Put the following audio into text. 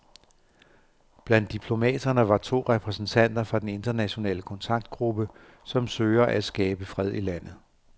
Blandt diplomaterne var to repræsentanter fra den internationale kontaktgruppe, som søger at skabe fred i landet.